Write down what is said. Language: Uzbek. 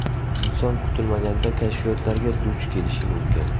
Inson kutilmaganda kashfiyotlarga duch kelishi mumkin.